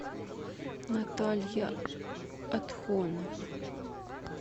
наталья отхонова